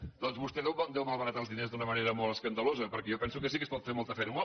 bé doncs vostè deu malbaratar els diners d’una manera molt escandalosa perquè jo penso que sí que es pot fer molta feina